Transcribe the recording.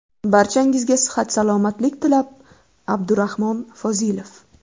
Barchangizga sihat-salomatlik tilab, Abdurahmon Fozilov .